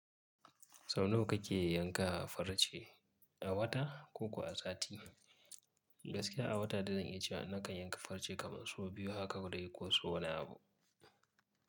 Sau nawa kake yanka farce a wata ko kuwa a sati? Gaskiya a wata dai zan iya cewa na kan yanka farce kaman sau biyu haka dai ko sau wani abu.